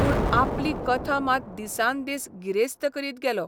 पूण आपली कथा मात दिसान दीस गिरेस्त करीत गेलो.